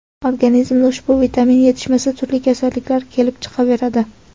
Organizmda ushbu vitamin yetishmasa turli kasalliklar kelib chiqaveradi.